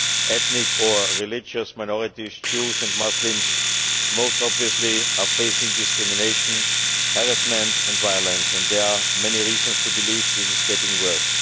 Ethnic and religious minorities, Jews and Muslims most obviously, are facing discrimination, harassment and violence and there are many reasons to believe this is getting worse.